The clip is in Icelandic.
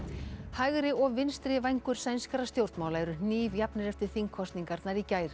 hægri og vinstri vængur sænskra stjórnmála eru hnífjafnir eftir þingkosningarnar í gær